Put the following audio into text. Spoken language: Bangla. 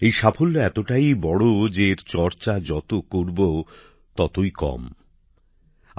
এই সাফল্য এতটাই বড় যে এর যত চর্চা করব ততই যেন কম হয়ে যাবে